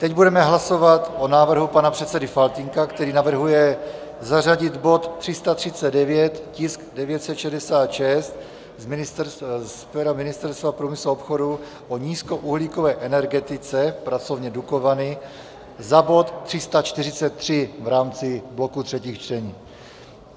Teď budeme hlasovat o návrhu pana předsedy Faltýnka, který navrhuje zařadit bod 339, tisk 966, z pera Ministerstva průmyslu a obchodu, o nízkouhlíkové energetice, pracovně Dukovany, za bod 343 v rámci bloku třetích čtení.